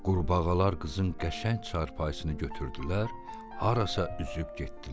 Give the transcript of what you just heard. Qurbağalar qızın qəşəng çarpayısını götürdülər, harasa üzüb getdilər.